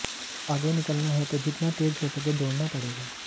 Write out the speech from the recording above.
आगे निकलना है तो जितना तेज हो सके दौड़ना पड़ेगा